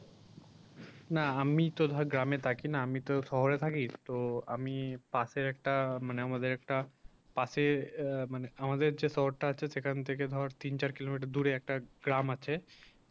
না আমি তো ধর গ্রাম এ থাকি না আমি তো শহরে থাকি তো আমি পাশে একটা মানে আমাদের একটা পাশে আ মানে আমাদের যে শহরটা আছে সেখান থেকে তিন চার কিলোমিটার দূরে একটা গ্রাম আছে